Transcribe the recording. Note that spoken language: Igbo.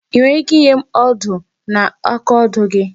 I nwere ike inye m odo na akaodo gị?